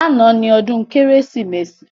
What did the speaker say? Lánàá ni ọdún Kérésìmesì